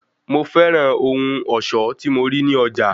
Mo fẹ́ràn ohun ọ̀ṣọ́ tí mo rí ní ọjà.